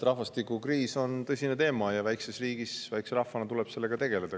Rahvastikukriis on tõsine teema ja väikeses riigis, väikese rahvana tuleb sellega tegeleda.